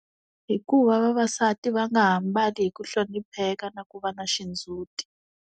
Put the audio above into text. Hikuva vavasati va nga ha ambali hi ku hlonipheka na ku va na xindzhuti.